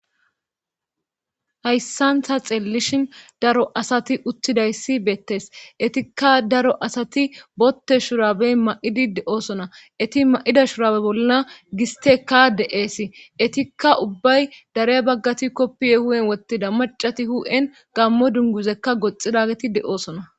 Hayssantha xeellishin daro asati uttidayssi beettes etikka daro asati botte shurabey ma'idi de'oosona eti ma'ida shurabe bolla gisteka de'eesi etikka ubbay darey baggati koppiye hu'en wotida macati hu'en gammo dunguzekka goxida geti de7oosona.